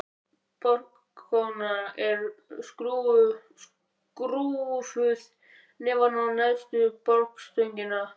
Borkróna er skrúfuð neðan á neðstu borstöngina.